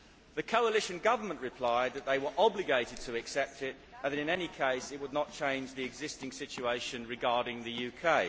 The coalition government replied that they were obligated to accede to it and that in any case it would not change the existing situation regarding the UK.